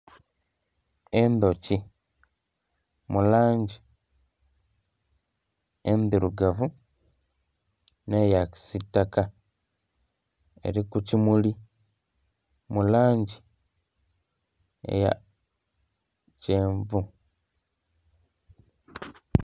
Endhuki mu langi endhirugavu nh'eya kisitaka, eli ku kimuli mu langi eya kyenvu.